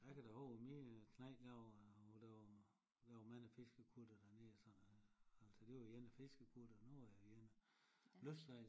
A kan da howwe min knægt der var der var der var mange fiskekuttere dernede og sådan noget altså der var ene fiskekuttere nu er det ene lystsejlere